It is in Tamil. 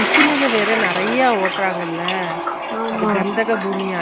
ஒரு மணிநேரத்துக்கு ஒருக்கா தண்ணி குடுச்சுடே இருக்கணும் அப்போத ஒடம்பு heat ஏறாது இல்லையா